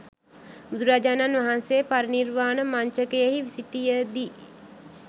බුදුරජාණන් වහන්සේ පරිනිර්වාණ මංචකයෙහි සිටිය දී